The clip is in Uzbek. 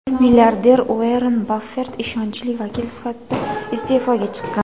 milliarder Uorren Baffet ishonchli vakil sifatida iste’foga chiqqan.